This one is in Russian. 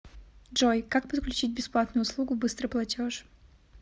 джой как подключить бесплатную услугу быстрый платеж